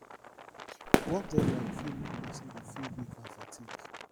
work deadline fit make person dey feel weak and fatigue